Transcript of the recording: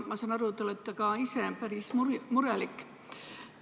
Ma saan aru, et ka te ise olete päris murelik.